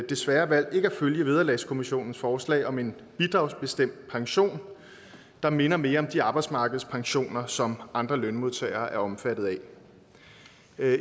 desværre valgt ikke at følge vederlagskommissionens forslag om en bidragsbestemt pension der minder mere om de arbejdsmarkedspensioner som andre lønmodtagere er omfattet af